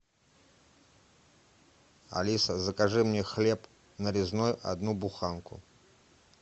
алиса закажи мне хлеб нарезной одну буханку